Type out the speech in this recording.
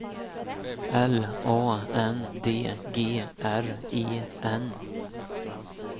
L A N D G R E N